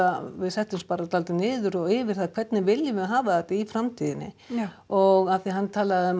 við settumst bara soldið niður og yfir það hvernig við viljum hafa þetta í framtíðinni já og af því hann talaði um